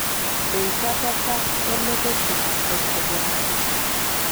Enkuatata elototo aitobiraki.